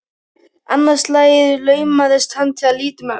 Annað slagið laumaðist hann til að líta um öxl.